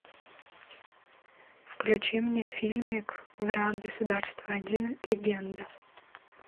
включи мне фильмик враг государства один легенда